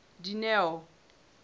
dineo